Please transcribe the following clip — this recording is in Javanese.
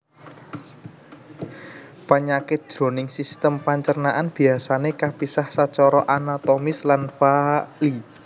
Panyakit jroning sistem pancernaan biasané kapisah sacara anatomis lan faali